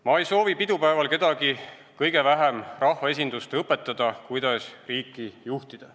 Ma ei soovi pidupäeval kedagi, kõige vähem rahvaesindust, õpetada, kuidas riiki juhtida.